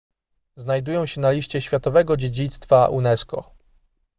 znajdują się na liście światowego dziedzictwa unesco